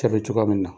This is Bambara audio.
Cɛ bɛ cogoya min na